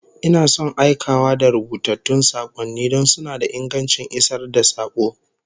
Ina son aikawa da rubutattun sakonni don suna da ingancin isar da sako